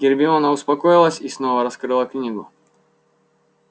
гермиона успокоилась и снова раскрыла книгу